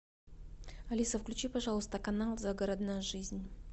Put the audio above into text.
алиса включи пожалуйста канал загородная жизнь